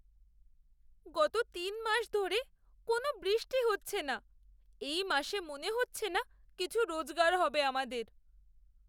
গত তিন মাস ধরে কোনও বৃষ্টি হচ্ছে না। এই মাসে মনে হচ্ছে না কিছু রোজগার হবে আমাদের।